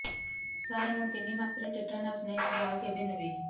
ସାର ମୁ ତିନି ମାସରେ ଟିଟାନସ ନେଇଥିଲି ଆଉ କେବେ ନେବି